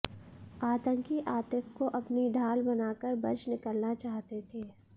आतंकी आतिफ को अपनी ढाल बना कर बच निकलना चाहते थे